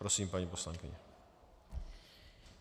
Prosím, paní poslankyně.